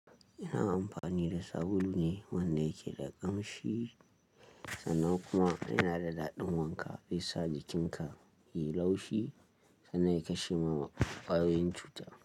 Ina amfani da sabulu ne wanda yake da ƙamshi sannan kuma yana da daɗin wanka. Zai sa jikinka ya yi laushi sannan ya kashe ma kwaayoyin cuta.